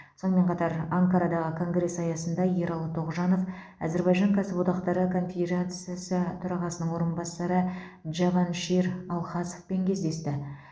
сонымен қатар анкарадағы конгресс аясында ералы тоғжанов әзірбайжан кәсіподақтары конфедерациясы төрағасының орынбасары джаваншир алхасовпен кездесті